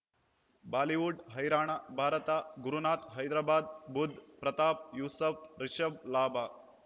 Bollywood ಹೈರಾಣ ಭಾರತ ಗುರುನಾಥ ಹೈದರಾಬಾದ್ ಬುಧ್ ಪ್ರತಾಪ್ ಯೂಸಫ್ ರಿಷಬ್ ಲಾಭ